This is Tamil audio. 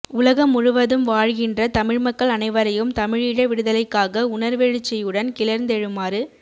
உலகம் முழுவதும் வாழ்கின்ற தமிழ்மக்கள் அனைவரையும் தமிழீழ விடுதலைக்காக உணர்வெழுச்சியுடன் கிளர்ந்தெழுமாறு